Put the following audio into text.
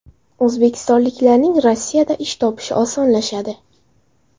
O‘zbekistonliklarning Rossiyada ish topishi osonlashadi.